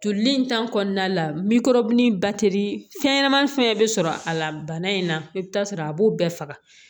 Joli in kɔnɔna la fɛnɲɛnamanin fɛn bɛ sɔrɔ a la bana in na i bɛ taa sɔrɔ a b'o bɛɛ faga